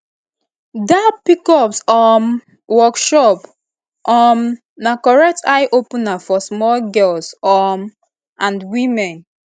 da pcos um workshop um na correct eye opener for small girls um and women